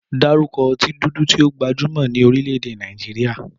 Dárúkọ ọtí dúdú tí ó gbajúmọ̀ ní orílẹ̀-èdè Nàìjíríà.